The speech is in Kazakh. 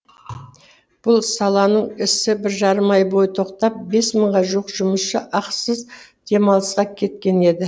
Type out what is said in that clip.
бұл саланың ісі бір жарым ай бойы тоқтап бес мыңға жуық жұмысшысы ақысыз демалысқа кеткен еді